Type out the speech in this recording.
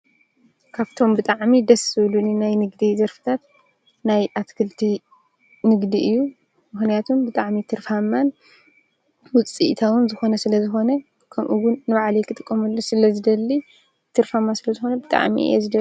ካብቶም ብጣዕሚ ደስ ዝብሉኒ ናይ ዘርፍታት ናይ ኣትክልቲ ንግዲ እዩ። ምክንያቱ ብጣዕሚ ትርፋማን ውፅኢታውን ስለዘኮነ ከምምኡ ውን ንባዕላይ ክጥቀመሉ ስለዝደሊ ትርፋማ ስለዝኮነ ብጣዕሚ እየ ዝደሊ።